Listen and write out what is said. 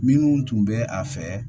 Minnu tun bɛ a fɛ